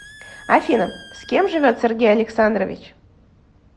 афина с кем живет сергей александрович